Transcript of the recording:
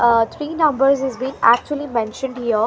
ah three numbers is been actually mentioned here .